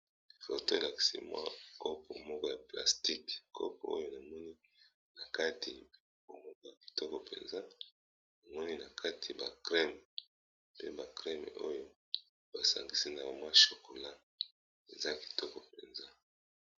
Foto elakisi mwa kopo moko ya plastique, kopo oyo namoni na kati pe tokomona kitoko mpenza, namoni na kati ba crème pe ba crème oyo basangisi na mwa chocola eza kitoko mpenza.